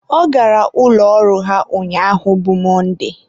ọ gara ụlọ ọrụ ha ụnyaahụ bụ Mọnde